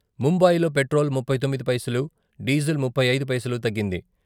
ముంబయిలో petrol ముప్పై తొమ్మిది పైసలు, డీజిల్ ముప్పై ఐదు పైసలు తగ్గింది.